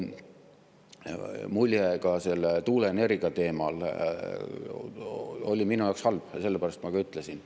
Mulje selle tuuleenergia teema puhul oli minu jaoks halb ja seda ma ka ütlesin.